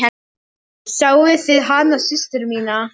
Sáuð þið hana systur mína.